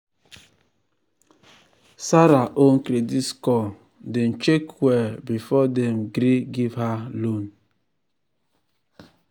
zara own credit score dem check well before dem gree give her loan.